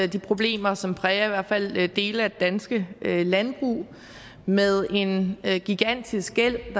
de problemer som præger i hvert fald dele af det danske landbrug med en gigantisk gæld